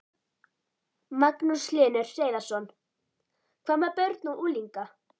Magnús Hlynur Hreiðarsson: Hvað með börn og unglinga?